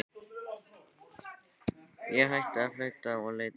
Ég hætti að flauta og leit upp.